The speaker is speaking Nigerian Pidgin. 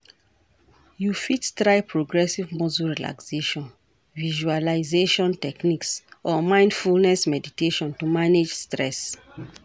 You fit try progressive muscle relaxation, visualization techniques or mindfulness meditation to manage stress.